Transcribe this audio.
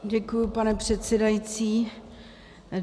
Děkuji, pane předsedající.